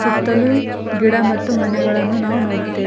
ಸುತ್ತಲು ಗಿಡ ಮತ್ತು ಮನೆಗಳನ್ನು ನಾವು ನೋಡುತ್ತೇ--